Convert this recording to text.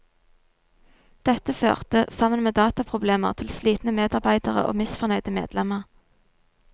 Dette førte, sammen med dataproblemer, til slitne medarbeidere og misfornøyde medlemmer.